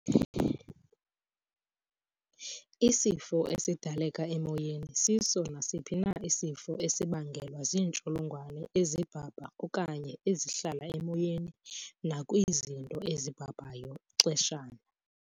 Isifo esidaleka emoyeni siso nasiphi na isifo esibangelwa ziintsholongwane ezibhabha okanye ezihlala emoyeni nakwi zinto ezibhabhayo ixeshana.